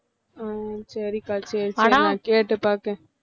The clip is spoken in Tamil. அஹ் சரிக்கா சரி சரி நான் கேட்டுப் பார்க்கிறேன்